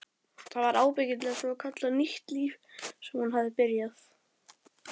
Það var ábyggilega svokallað nýtt líf sem hún hafði byrjað.